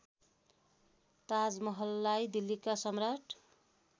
ताजमहललाई दिल्लीका सम्राट